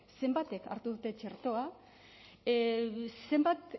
zenbatek hartu dute txertoa zenbat